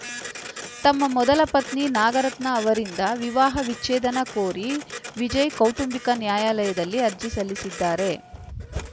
ತಮ್ಮ ಮೊದಲ ಪತ್ನಿ ನಾಗರತ್ನ ಅವರಿಂದ ವಿವಾಹ ವಿಚ್ಛೇದನ ಕೋರಿ ವಿಜಯ್‌ ಕೌಟುಂಬಿಕ ನ್ಯಾಯಾಲಯದಲ್ಲಿ ಅರ್ಜಿ ಸಲ್ಲಿಸಿದ್ದಾರೆ